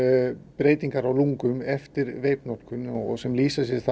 breytingar á lungum eftir veipnotkun sem lýsa sér